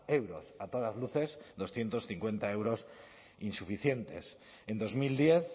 euros a todas luces doscientos cincuenta euros insuficientes en dos mil diez